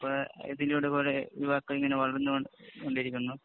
ഇപ്പൊ ഇതിനോട് കൂടെ യുവാക്കള്‍ ഇങ്ങനെ വളര്‍ന്നു കൊണ്ട് കൊണ്ടിരിക്കുന്നു..